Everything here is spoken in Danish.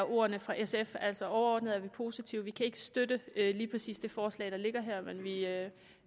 ordene fra sf altså overordnet er vi positive vi kan ikke støtte lige præcis det forslag der ligger her men vi er